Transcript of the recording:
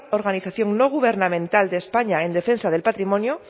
organización no gubernamental de españa en defensa del patrimonio